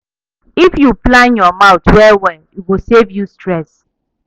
If yu plan yur month well well, e go save you stress